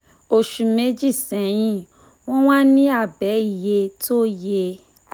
oṣù méjì sẹ́yìn wọ́n wà ní abẹ́ iye tó yẹ